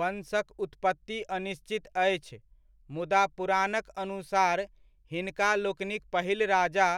वंशक उत्पत्ति अनिश्चित अछि, मुदा पुराणक अनुसार हिनका लोकनिक पहिल राजा